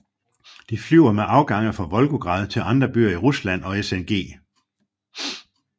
Det flyver med afgange fra Volgograd til andre byer i Rusland og SNG